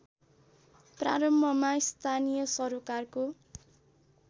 प्रारम्भमा स्थानीय सरोकारको